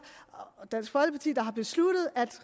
og dansk folkeparti der har besluttet at